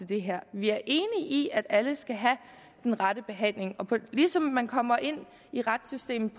det her vi er enige i at alle skal have den rette behandling og ligesom man kommer ind i retssystemet